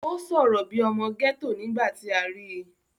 ó sọ̀rọ̀ bíi ọmọ gẹ́tò nígbà tí a rí i